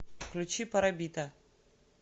включи парабита